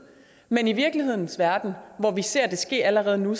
men i virkelighedens verden hvor vi ser det ske allerede nu